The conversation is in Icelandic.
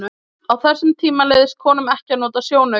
á þessum tíma leyfðist konum ekki að nota sjónauka